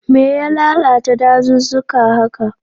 Me ya lalata dazuzzuka haka?